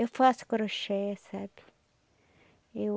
Eu faço crochê, sabe? Eu...